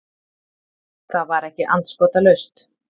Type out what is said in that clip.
Það var ekki andskotalaust.